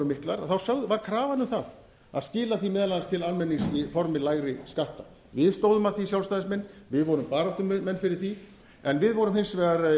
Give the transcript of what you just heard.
tekjurnar voru miklar var krafan um það að skila því meðal annars til almennings í formi lægri skatta við stóðum að því sjálfstæðismenn við vorum baráttumenn fyrir því en við vorum hins vegar